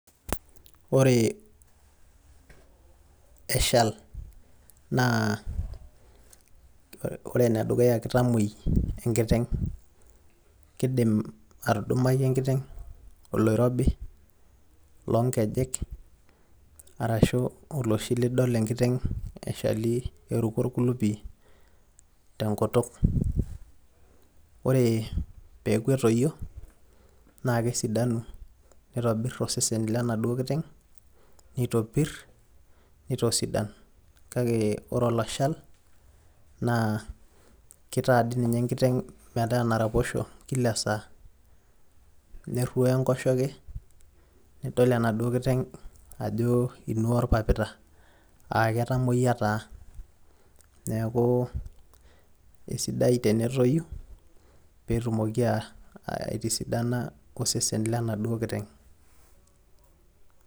ore eshal naa, ore ene dukuya naa kitamuioi enkiteng' kidim atudumaki enkiteng oloirobi loo nkejek, eneoshi nidol enkiteng'eruko orkulupi te nkutuk, ore pee eeku etoyio, nitobir osesen lenaduoo kiteng. nitagol. kake ore oloshal, naa kitaa dii ninye enkiteng enaraposho kila saa, neruoyo enkoshoke. nidool enaduoo kiteng' ajo inuaa orpapita.aa ketamoyia taa. neeku isidai tenetpyu pee etumoki aitisidana osesen lenaduoo kiteng'.